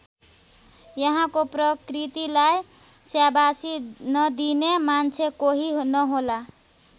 यहाँको प्रकृतीलाई स्याबासी नदिने मान्छे कोही नहोला।